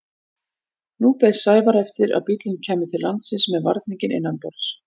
Nú beið Sævar eftir að bíllinn kæmi til landsins með varninginn innanborðs.